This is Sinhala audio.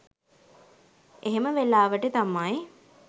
එහෙම වෙලාවට තමයි